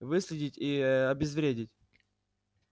выследить и э обезвредить